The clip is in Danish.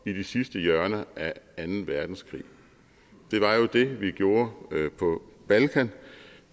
i de sidste hjørner af anden verdenskrig det var jo det vi gjorde på balkan